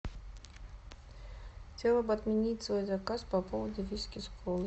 хотела бы отменить свой заказ по поводу виски с колой